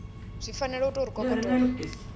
zwi fanela u tou kokotolo